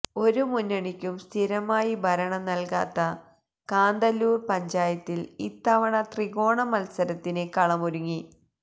ഒരു മുന്നണിക്കും സ്ഥിരമായി ഭരണം നല്കാത്ത കാന്തല്ലൂര് പഞ്ചായത്തില് ഇത്തവണ ത്രികോണമത്സരത്തിന് കളമൊരുങ്ങി